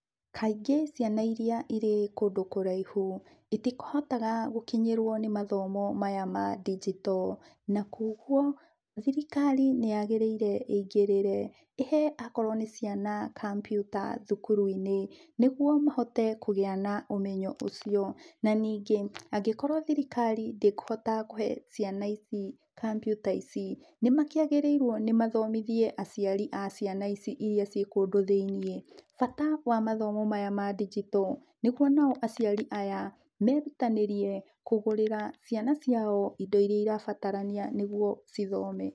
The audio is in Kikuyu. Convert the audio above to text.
Kaingĩ ciana irĩa irĩ kũndũ kũraihu ĩtĩhotaga gũkĩnyĩrwo nĩ mathomo maya ma ndijito na koguo thirikari nĩ yagĩrĩire ĩingĩrĩre, ĩhe akorwo nĩ ciana kabiuta thukuru-inĩ nĩgũo mahote kũgĩa na ũmenyo ũcio na ningĩ, angĩkorwo thirikari ndĩkũhota kũhe ciana ici kabiuta ici, nĩ makĩagĩrĩirwo mathomithie aciari a ciana ici irĩa cĩ kũndũ thĩinie bata wa mathomo maya ma ndijito nĩgũo nao aciari aya merutanĩrie kũgũrĩra ciana ciao indo iria irabatarania nĩguo cithome.